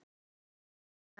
Kæra Edda.